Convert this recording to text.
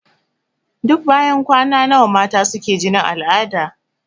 Duk banyan kwana nawa mata suke jinin al'ada?